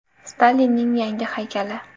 Stalinning yangi haykali.